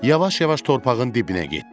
Yavaş-yavaş torpağın dibinə getdi.